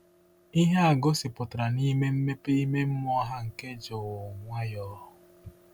Ihe a gosipụtara n’ime mmepe ime mmụọ ha nke jụụ nwayọọ.